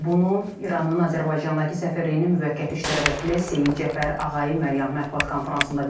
Bunu İranın Azərbaycandakı səfirliyinin müvəqqəti işlər vəkili Seyid Cəfər Ağayi Məryəm mətbuat konfransında bildirib.